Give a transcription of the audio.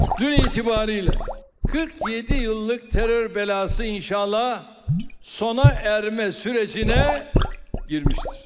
Dünən etibarı ilə 47 illik terror bəlası inşallah sona çatma prosesinə daxil olmuşdur.